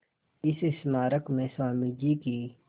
इस स्मारक में स्वामी जी की